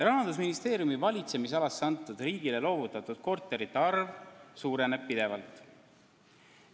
Rahandusministeeriumi valitsemisalasse antud riigile loovutatud korterite arv suureneb pidevalt.